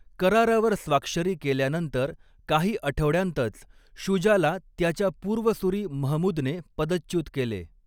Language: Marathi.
करारावर स्वाक्षरी केल्यानंतर काही आठवड्यांतच शुजाला त्याचा पूर्वसुरी महमूदने पदच्युत केले.